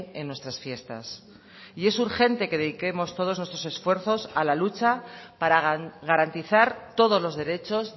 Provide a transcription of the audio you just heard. en nuestras fiestas y es urgente que dediquemos todos nuestros esfuerzos a la lucha para garantizar todos los derechos